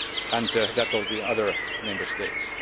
a whole and that of the other Member States.